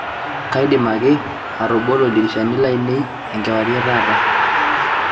kaidim ake atobolo ildirishani lainei enkewarie e taata